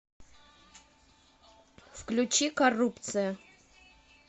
включи коррупция